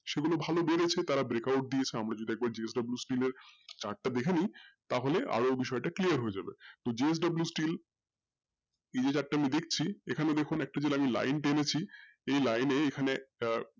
সেগুলো ভালো লেগেছে তারা break out দিয়েছে আমরা যদি এবার JSW steel এর chart দেখেনি তাহলে আরও বিষয়টা clear যাবে JSW steel এই যে chart আমরা দেখছি এখানে দেখুন একটা যে আমি line টেনেছি এই line এ এখানে আহ